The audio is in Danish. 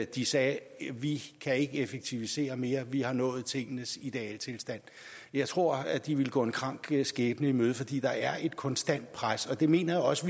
de sagde vi kan ikke effektivisere mere vi har nået tingenes idealtilstand jeg tror at de ville gå en krank skæbne i møde fordi der er et konstant pres og det mener jeg også